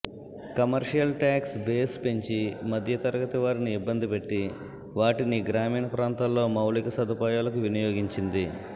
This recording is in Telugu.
కమ్మర్షియల్ టాక్స్ బేస్ పెంచి మధ్యతరగతి వారిని యిబ్బంది పెట్టి వాటినీ గ్రామీణ ప్రాంతాల్లో మౌలిక సదుపాయాలకు వినియోగించింది